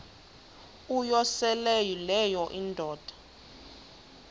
uyosele leyo indoda